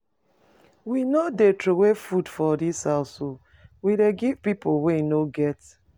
We no dey troway food for dis house o, we dey give pipu wey no get.